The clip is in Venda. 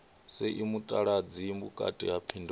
sie mutaladzi vhukati ha phindulo